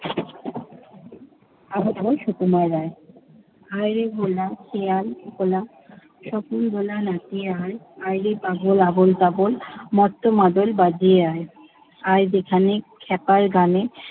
আবল বাতল, সুকুমার রায়। আয়রে ভোলা খেয়াল খোলা, স্বপন দোলা নাচিয়ে আয়। আয়রে পাগল আবোল তাবোল মত্ত মাদল বাজিয়ে আয়। আয় যেখানে খ্যাপার গানে